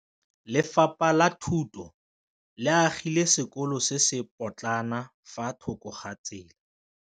Lefapha la Thuto le agile sekôlô se se pôtlana fa thoko ga tsela.